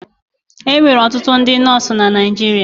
E nwere ọtụtụ ndị nọọsụ na Naịjirịa.